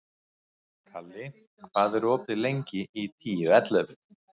Kali, hvað er opið lengi í Tíu ellefu?